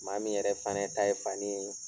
Maa min yɛrɛ fana ta ye fani ye.